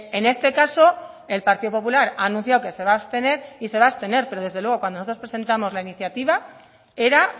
en este caso el partido popular ha anunciado que se va abstener y se va abstener pero desde luego cuando nosotros presentamos la iniciativa era